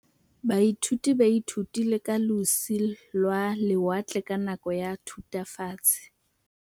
Baithuti ba ithutile ka losi lwa lewatle ka nako ya Thutafatshe.